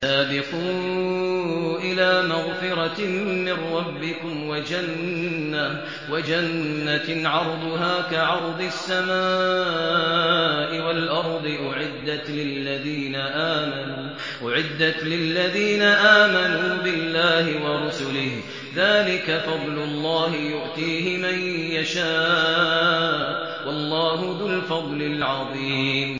سَابِقُوا إِلَىٰ مَغْفِرَةٍ مِّن رَّبِّكُمْ وَجَنَّةٍ عَرْضُهَا كَعَرْضِ السَّمَاءِ وَالْأَرْضِ أُعِدَّتْ لِلَّذِينَ آمَنُوا بِاللَّهِ وَرُسُلِهِ ۚ ذَٰلِكَ فَضْلُ اللَّهِ يُؤْتِيهِ مَن يَشَاءُ ۚ وَاللَّهُ ذُو الْفَضْلِ الْعَظِيمِ